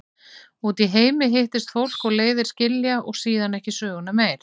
Úti í heimi hittist fólk og leiðir skilja og síðan ekki söguna meir.